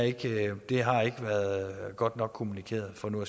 ikke har været godt nok kommunikeret for nu